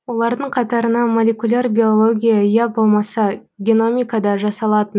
олардың қатарына молекуляр биология я болмаса геномикада жасалатын